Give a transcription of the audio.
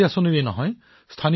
স্থানীয় উৎপাদনৰ সৱলীকৰণ কৰিম